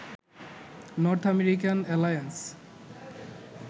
north American alliance